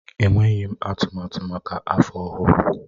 Enweghị m atụmatụ maka afọ ọhụrụ.